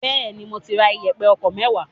Bẹẹni, mo ti ra iyepe ọkọ̀ mewaa.